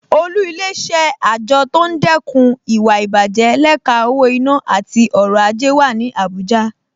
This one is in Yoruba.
Olú Ilé-iṣẹ́ àjọ tó ń dẹ́kun ìwà ìbàjẹ́ lẹ́ka owó-ìná àti ọrọ̀ ajé wà ní Abuja